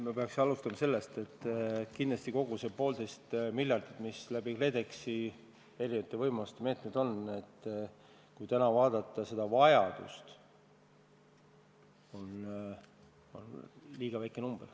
Ma pean alustama sellest, et kogu see poolteist miljardit, mis läbi KredExi erinevate võimaluste need meetmed on, on tänast vajadust vaadates kindlasti liiga väike.